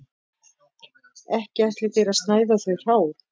Ekki ætlið þér að snæða þau hrá